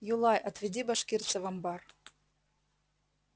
юлай отведи башкирца в амбар